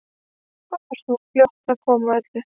Bara svona fljót að öllu.